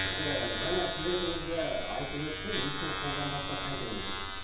енді жаңа сюжетімізде айтып өтті ешкім қолданбаса қайтеміз деп